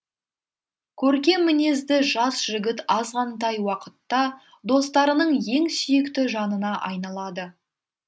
көркем мінезді жас жігіт азғантай уақытта достарының ең сүйікті жанына айналады